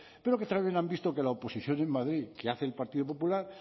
pero que también han visto que la oposición en madrid que hace el partido popular